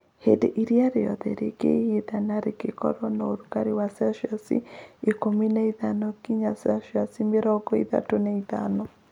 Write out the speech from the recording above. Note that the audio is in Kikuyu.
Hĩndĩ ĩrĩa rĩothe rĩingĩhĩte na rĩgakorũo na ũrugarĩ wa CIkũmi na ithano nginya Cmĩrongo ĩtatũ na ithano